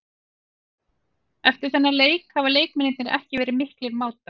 Eftir þennan leik hafa leikmennirnir ekki verið miklir mátar.